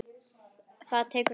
Það tekur ár.